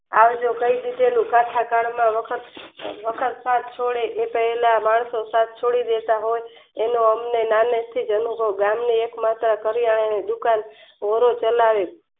આ રીતે ચુકેલી કથાથાળ માં વખત તાસ જોડે માણસો સાથ છોડી દેતા એનો અમને નાને થીજ અનુભવ ગાંમી એક માત્ર કરિયાણા ની દુકાન રોડે ચલાવે